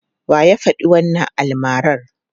Wa ya faɗi wannan almarar?